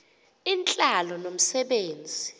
intlalo nomse benzi